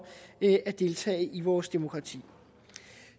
at deltage i vores demokrati